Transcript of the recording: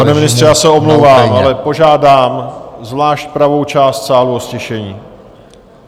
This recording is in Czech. Pane ministře, já se omlouvám, ale požádám zvlášť pravou část sálu o ztišení.